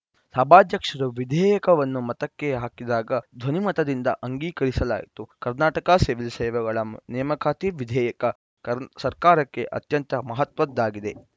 ಸಭಾಧ್ಯಕ್ಷರು ವಿಧೇಯಕವನ್ನು ಮತಕ್ಕೆ ಹಾಕಿದಾಗ ಧ್ವನಿಮತದಿಂದ ಅಂಗೀಕರಿಸಲಾಯಿತು ಕರ್ನಾಟಕ ಸಿವಿಲ್‌ ಸೇವೆಗಳ ನೇಮಕಾತಿ ವಿಧೇಯಕ ಸರ್ಕಾರಕ್ಕೆ ಅತ್ಯಂತ ಮಹತ್ವದ್ದಾಗಿದೆ